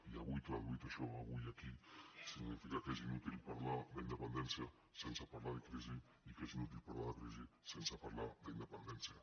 i avui traduït això avui aquí significa que és inútil parlar d’independència sense parlar de crisi i que és inútil parlar de crisi sense parlar d’independència